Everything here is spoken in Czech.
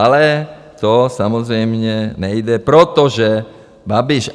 Ale to samozřejmě nejde, protože Babiš.